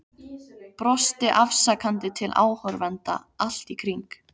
Brosti afsakandi til áhorfenda allt í kring.